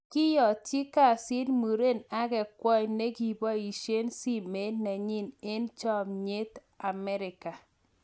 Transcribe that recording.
Kyatchi kesiit muren agenhe kwony' nigiboishee simeet nenyii eng chomnyeetAmerika.